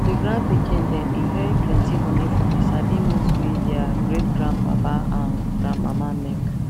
the grand pikin dem inherit plenty money from the sabi moves wey their greatgrandpapa and grandmama make